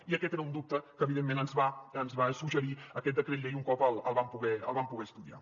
i aquest era un dubte que evidentment ens va suggerir aquest decret llei un cop el vam poder estudiar